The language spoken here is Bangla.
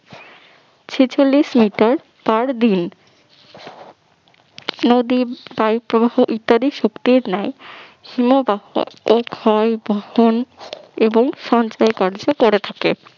ছেচল্লিশ মিটার per দিন নদী বায়ু প্রবাহ ইত্যাদি শক্তির ন্যায় হিমবাহ ক্ষয় বহন এবং সঞ্চয় কার্য করে থাকে